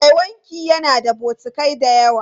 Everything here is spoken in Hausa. Mai wanki yana da bokatai da yawa.